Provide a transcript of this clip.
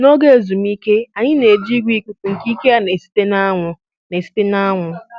N'oge ezumike, anyị na-eji igwe ikuku nke ike ya na-esite n'anwụ na-esite n'anwụ